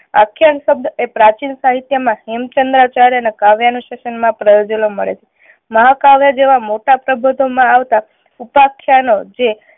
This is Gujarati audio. આખ્યાન શબ્દ એ પ્રાચીન સાહિત્ય માં હેમચંદ્રાચાર્ય ના કાવ્ય અનુસાશન માં પ્રયોજેલો જોવા મળે છે. મહા કાવ્ય જેવા મોટા પ્રબધો માં આવતા ઉપ આખ્યાનો જે